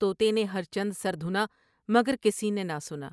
تو تے نے ہر چند سر دھنا مگر کسی نے نہ سنا ۔